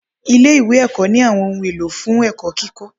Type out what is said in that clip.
Ilé ìwé ẹ̀kọ́ ní àwọn ohun èlò fún ẹ̀kọ́ kíkọ́.